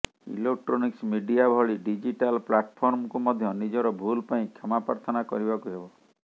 electronics media ଭଳି digital ପ୍ଲାଟଫର୍ମକୁ ମଧ୍ୟ ନିଜର ଭୁଲ୍ ପାଇଁ କ୍ଷମା ପାର୍ଥନା କରିବାକୁ ହେବ